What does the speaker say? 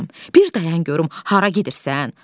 Ay balam, bir dayan görüm hara gedirsən?